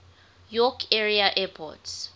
york area airports